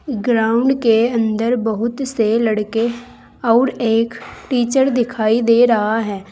Ground के अंदर बहुत से लड़के अऊर एक टीचर दिखाई दे रहा है।